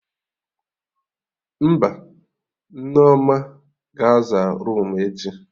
Mba, Nneoma ga-aza roomu echi